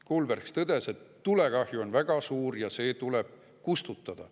Kulbergs tõdes, et tulekahju on väga suur ja see tuleb kustutada.